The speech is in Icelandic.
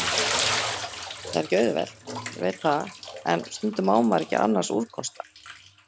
Það er ekki auðvelt, ég veit það, en stundum á maður ekki annars úrkosta.